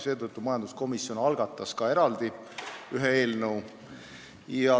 Seetõttu majanduskomisjon algatas ka eraldi ühe eelnõu.